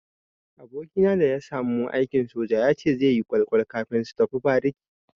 Abokina da ya samu aikin soja ya ce zai yi askin kwal-kwal kafin su tafi bariki.